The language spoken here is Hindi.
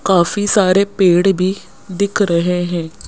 काफी सारे पेड़ भी दिख रहे हैं।